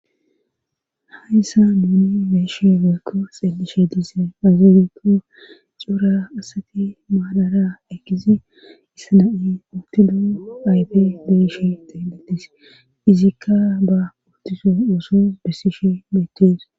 Hayssa duuni beeshe mekko xeelishe diise azuolikko cora asati maadara eggizi issana7i uttido ayfe beeshe xeenletis izikka ba uttiso ooso bessishe metees.